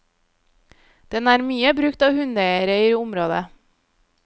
Den er mye brukt av hundeeiere i området.